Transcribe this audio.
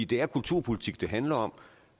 det er kulturpolitik det handler om